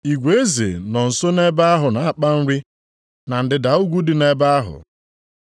Igwe ezi nọ nso nʼebe ahụ na-akpa nri, na ndịda ugwu dị nʼebe ahụ.